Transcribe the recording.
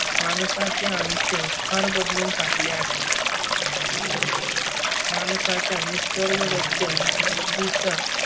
माणसा चे आयुष्य फार टाकली आहे. माणसा च्या निसर्गदत्त बुद्धीचा.